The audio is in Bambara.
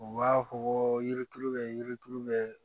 U b'a fɔ ko yirituru bɛ yiritulu bɛ